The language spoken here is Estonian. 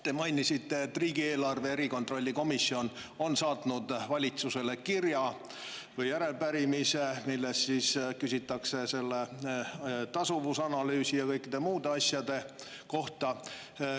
Te mainisite, et riigieelarve kontrolli erikomisjon on saatnud valitsusele kirja või järelepärimise, milles küsitakse selle tasuvusanalüüsi ja kõikide muude asjade kohta.